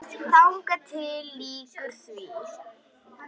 Þangað til því lýkur.